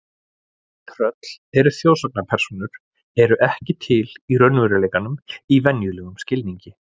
Tröll eru þjóðsagnapersónur eru ekki til í veruleikanum í venjulegum skilningi.